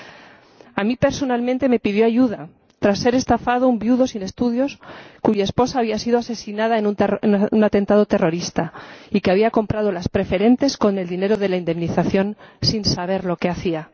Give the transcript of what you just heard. Miren, a mí personalmente me pidió ayuda tras ser estafado un viudo sin estudios, cuya esposa había sido asesinada en un atentado terrorista y que había comprado las preferentes con el dinero de la indemnización sin saber lo que hacía.